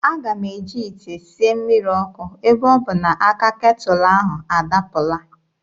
Aga m eji ite sie mmiri ọkụ ebe ọ bụ na aka ketụlụ ahụ adapụla.